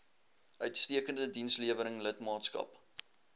uitstekende dienslewering lidmaatskap